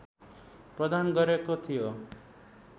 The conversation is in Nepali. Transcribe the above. प्रदान गरेको थियो